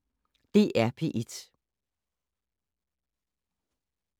DR P1